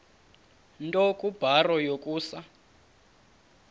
nto kubarrow yokusa